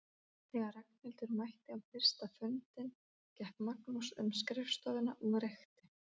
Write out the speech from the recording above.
Þegar Ragnhildur mætti á fyrsta fundinn gekk Magnús um skrifstofuna og reykti.